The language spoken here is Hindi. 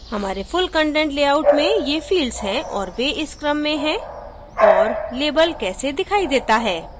हमारे full content लेआउट में ये fields हैं और वे इस क्रम में है और label these दिखाई देता है